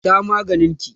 Sha maganin ki!